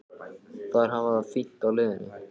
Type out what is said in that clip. Þær hafa það fínt á leiðinni.